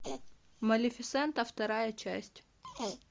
малефисента вторая часть